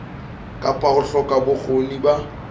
kapa ho hloka bokgoni ba